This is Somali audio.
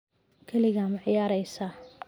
Kaligaa ma ciyaareysaa?